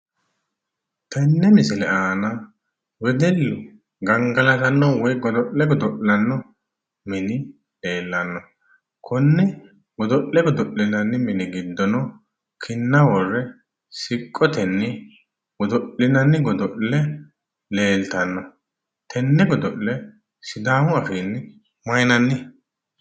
Tenne misile aana wedellu gangalatanno woyi godo'le godo'lanno mini leellanno. Konne godo'le godo'linanni mini giddono kinna worre siqqotenni godo'linanni godo'le leeltanno. Tenne godo'le sidaamu afiinni mayiinanni?